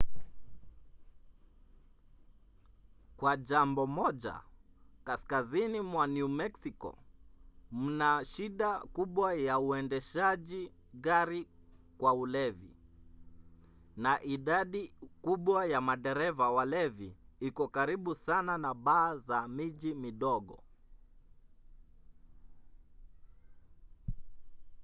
kwa jambo moja kaskazini mwa new meksiko mna shida kubwa ya uendeshaji gari kwa ulevi na idadi kubwa ya madereva walevi iko karibu sana na baa za miji midogo